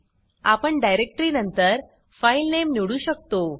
आपण डाइरेक्टरी नंतर file name निवडू शकतो